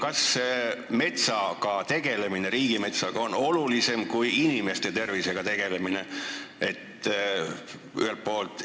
Kas riigimetsaga tegelemine on olulisem kui inimeste tervisega tegelemine?